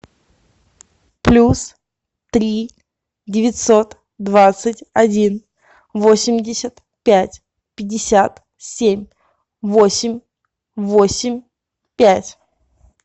плюс три девятьсот двадцать один восемьдесят пять пятьдесят семь восемь восемь пять